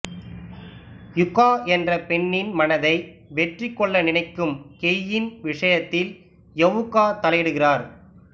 யுகா என்ற பெண்ணின் மனதை வெற்றி கொள்ள நினைக்கும் கெய்யின் விஷயத்தில் ஹவுகா தலையிடுகிறார்